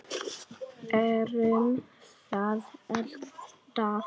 Erum það alltaf.